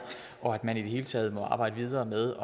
og at man i det hele taget må arbejde videre med